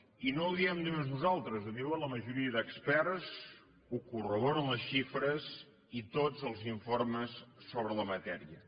i no ho diem només nosaltres ho diuen la majoria d’experts ho corroboren les xifres i tots els informes sobre la matèria